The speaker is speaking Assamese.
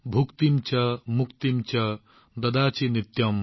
ভুক্তিম চা মুক্তিম চা দদাসি নিত্যম